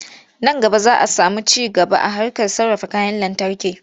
Nan gaba za a samu ci gaba a harkar sarrafa kayan lantarki.